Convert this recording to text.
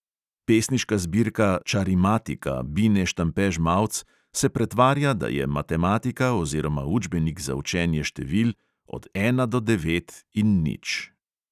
Pesniška zbirka čarimatika bine štampe žmavc se pretvarja, da je matematika oziroma učbenik za učenje števil od ena do devet in nič.